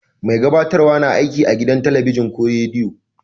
Mai gabatarwa na aiki a gidan telibijin ko rediyo.